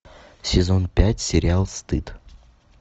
сезон пять сериал стыд